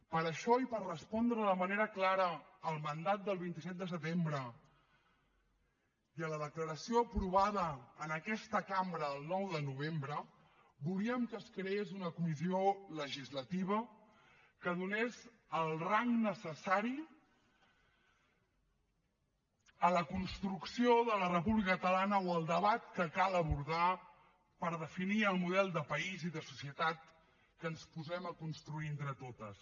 per això i per respondre de manera clara al mandat del vint set de setembre i a la declaració aprovada en aquesta cambra el nou de novembre volíem que es creés una comissió legislativa que donés el rang necessari a la construcció de la república catalana o al debat que cal abordar per definir el model de país i de societat que ens posem a construir entre totes